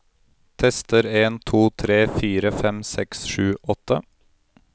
Tester en to tre fire fem seks sju åtte